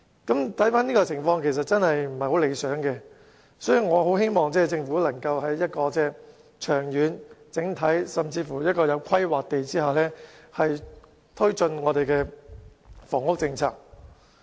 如此看來，情況確實並不理想，所以我很希望政府可以長遠、整體及有規劃地推進房屋政策。